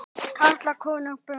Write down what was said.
Karla, konur, börn.